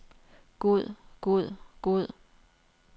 god god god